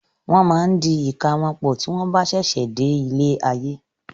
Won máa ń di ìka wọn pọ̀ tí wọn bá sẹsẹ dé ilé ayé.